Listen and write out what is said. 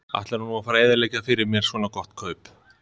Ætlarðu nú að fara að eyðileggja fyrir mér svona gott kaup?